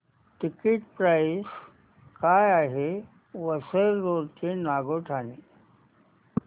ticket price काय आहे Vasai road ते नागोठणे